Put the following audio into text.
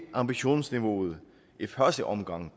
ambitionsniveauet i første omgang